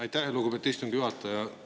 Aitäh, lugupeetud istungi juhataja!